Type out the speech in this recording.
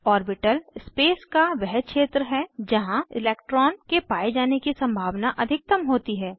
orbital space का वह क्षेत्र है जहाँ इलैक्ट्रॉन के पाये जाने की सम्भावना अधिकतम होती है